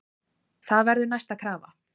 Það verður næsta krafa.